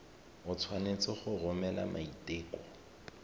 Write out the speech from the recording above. o tshwanetse go romela maiteko